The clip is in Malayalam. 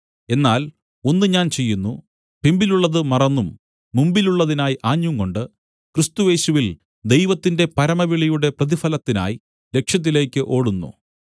എന്നാൽ ഒന്ന് ഞാൻ ചെയ്യുന്നു പിമ്പിലുള്ളത് മറന്നും മുമ്പിലുള്ളതിനായി ആഞ്ഞുംകൊണ്ട് ക്രിസ്തുയേശുവിൽ ദൈവത്തിന്റെ പരമവിളിയുടെ പ്രതിഫലത്തിനായി ലക്ഷ്യത്തിലേക്ക് ഓടുന്നു